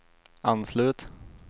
anslut